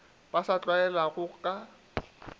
ba sa a tlwaelago ka